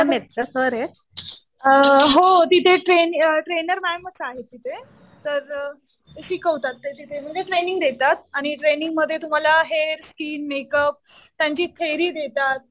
Free मध्ये. हो तिथे ट्रेनर मॅम च आहे तिथे. तर शिकवतात ते तिथे. म्हणजे ट्रेनिंग देतात. आणि ट्रेनिंग मध्ये तुम्हाला हेअर, स्किन, मेक अप त्यांची थेरी देतात.